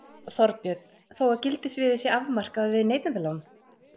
Þorbjörn: Þó að gildissviðið sé afmarkað við neytendalán?